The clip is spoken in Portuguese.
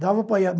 Dava para ir